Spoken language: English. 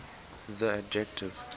the adjective